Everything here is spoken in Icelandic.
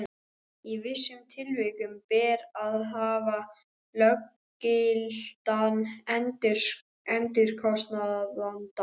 Í vissum tilvikum ber að hafa löggiltan endurskoðanda.